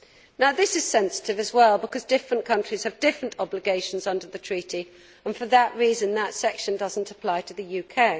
Now this is sensitive as well because different countries have different obligations under the Treaty and for that reason that section does not apply to the UK.